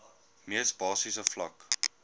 mees basiese vlak